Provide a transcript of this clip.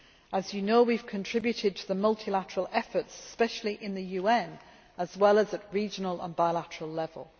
As you know, we have contributed to multilateral efforts, especially in the UN, as well as at regional and bilateral level.